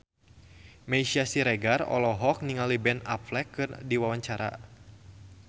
Meisya Siregar olohok ningali Ben Affleck keur diwawancara